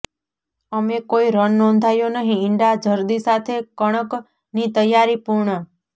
અમે કોઈ રન નોંધાયો નહીં ઇંડા જરદી સાથે કણક ની તૈયારી પૂર્ણ